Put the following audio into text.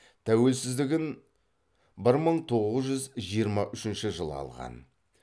тәуелсіздігін бір мың тоғыз жүз жиырма үшінші жылы алған